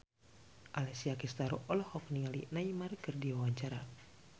Alessia Cestaro olohok ningali Neymar keur diwawancara